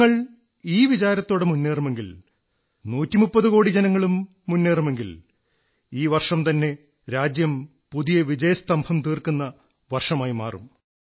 നിങ്ങൾ ഈ വിചാരത്തോടെ മുന്നേറുമെങ്കിൽ 130 കോടി ജനങ്ങളും മുന്നേറുമെങ്കിൽ ഈ വർഷംതന്നെ രാജ്യം പുതിയ വിജയസ്തംഭം തീർക്കുന്ന വർഷമായി മാറും